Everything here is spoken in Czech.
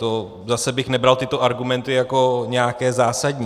To bych zase nebral tyto argumenty jako nějaké zásadní.